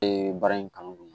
baara in kanu don